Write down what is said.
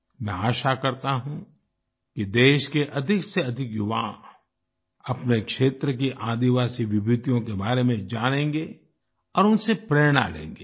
मैं आशा करता हूँ कि देश के अधिक से अधिक युवा अपने क्षेत्र की आदिवासी विभूतियों के बारे में जानेंगे और उनसे प्रेरणा लेंगे